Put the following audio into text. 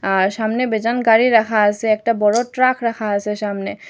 আর সামনে বেজান গাড়ি রাখা আসে একটা বড় ট্রাক রাখা আসে সামনে।